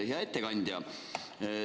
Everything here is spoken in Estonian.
Hea ettekandja!